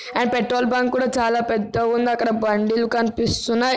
and petrol bunk కూడా చాలా పెద్దగా ఉంది అక్కడ బండిలు కనిపిస్తున్నాయి